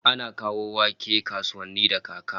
Ana kawo wake kasuwanni da kaka